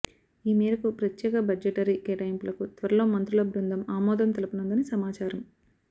ఈ మేరకు ప్రత్యేక బడ్జెటరీ కేటాయింపులకు త్వరలో మంత్రుల బృందం ఆమోదం తెలపనుందని సమాచారం